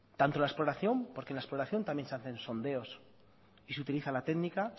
tanto la exploración porque en la exploración también se hacen sondeos y se utiliza la técnica